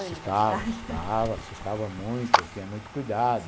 Assustava, assustava, assustava muito, tinha muito cuidado.